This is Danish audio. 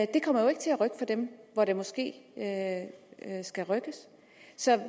det kommer jo ikke til at rykke for dem hvor der måske at det skal rykke så jeg